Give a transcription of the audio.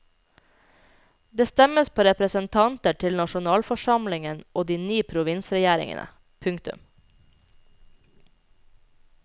Det stemmes på representanter til nasjonalforsamlingen og de ni provinsregjeringene. punktum